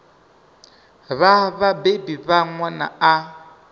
vha vhabebi vha ṅwana a